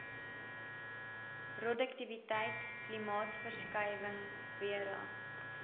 roduktiwiteit klimaatsverskuiwinhg vera